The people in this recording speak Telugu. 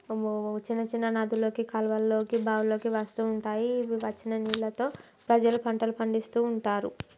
చిన్న చిన్న నదులోకి కాలువల్లోకి బావుల్లోకి వస్తుంటాయి ఇవి వచ్చిన నీళ్ళతో ప్రజలు పంటలు పందడిస్తుంటారు.